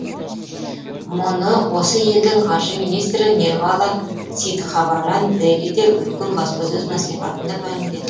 мұны осы елдің қаржы министрі нирвала ситхаваран делиде өткен баспасөз маслихатында мәлімдеді